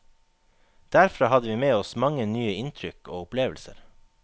Derfra hadde vi med oss mange nye inntrykk og opplevelser.